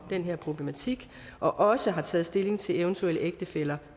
her problematik og også har taget stilling til eventuelle ægtefæller